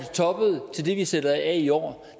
toppede og til det vi sætter af i år